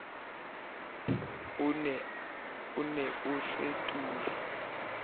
o ne o se turu